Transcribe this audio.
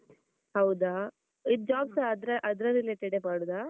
ಹೌದಾ! ಇದ್ job ಸ ಅದ್ರ ಅದ್ರ related ಏ ಮಾಡುದಾ?